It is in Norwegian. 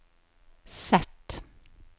Z